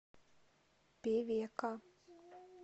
певека